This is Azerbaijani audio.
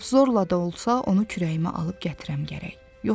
Lap zorla da olsa onu könlümdə kürəyimə alıb gətirəm gərək.